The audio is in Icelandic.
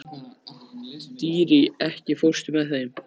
Dýri, ekki fórstu með þeim?